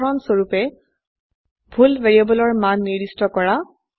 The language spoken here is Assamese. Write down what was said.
উদাহৰণস্বৰুপে ভুল ভ্যাৰিয়েবলৰ মান নিৰ্দিষ্ট কৰা